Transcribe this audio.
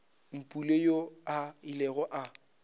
mpule yoo a ilego a